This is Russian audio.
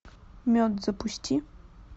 мед запусти